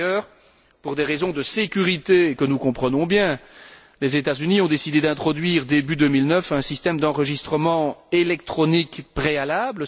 Par ailleurs, pour des raisons de sécurité que nous comprenons bien, les États Unis ont décidé d'introduire, début 2009, un système d'enregistrement électronique préalable.